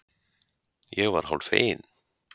Ég var hálffegin.